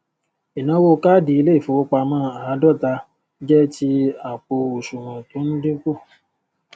inawo káàdì ilé ìfowópamó ààdóta jé ti àpò asùwòn tó n dínku